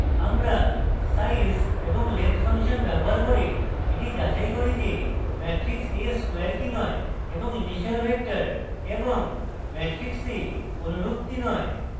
আমরা size এবং length function ব্যবহার করে এটি যাচাই করি যে matrix a square কি নয় এবং initial vector এবং matrix a অনুরূপ কি নয়